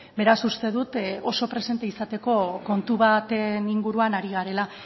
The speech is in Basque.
beraz uste dut oso presente izateko kontu baten inguruan ari garela